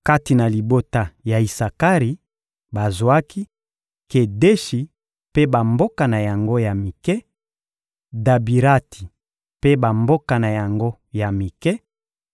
Kati na libota ya Isakari, bazwaki: Kedeshi mpe bamboka na yango ya mike, Dabirati mpe bamboka na yango ya mike,